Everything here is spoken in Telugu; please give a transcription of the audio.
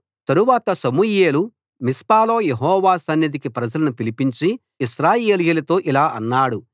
తరువాత సమూయేలు మిస్పాలో యెహోవా సన్నిధికి ప్రజలను పిలిపించి ఇశ్రాయేలీయులతో ఇలా అన్నాడు